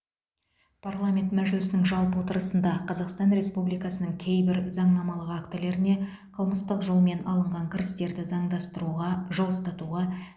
парламент мәжілісінің жалпы отырысында қазақстан республикасының кейбір заңнамалық актілеріне қылмыстық жолмен алынған кірістерді заңдастыруға жылыстатуға